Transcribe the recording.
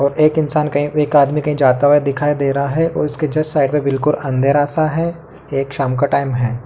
एक इंसान एक आदमी कही जाता हुआ दिखाई दे रहा है और इसके साइड मे बिल्कुल अंधेरा सा है और ये शाम का टाइम है |